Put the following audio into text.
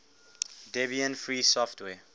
debian free software